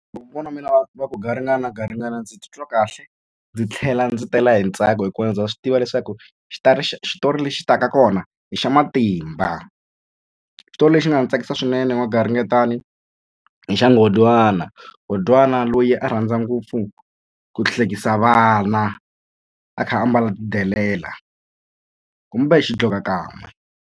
Loko kokwana wa mina va ku garingani na garingani ndzi titwa kahle ndzi tlhela ndzi tela hi ntsako hikuva ndza swi tiva leswaku xitori lexi taka kona hi xa matimba xitori lexi nga ni tsakisa swinene hi n'wagaringetani hi xa nghondwana, nghondwana loyi a rhandza ngopfu ku hlekisa vana a kha a mbala tidelela kumbe xidlokakan'we.